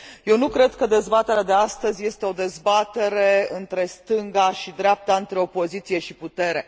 Eu nu cred că dezbaterea de astăzi este o dezbatere între stânga și dreapta, între opoziție și putere.